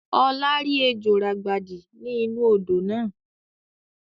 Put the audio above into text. Ọlá rí ejò ràgbàdi ni inu odò náà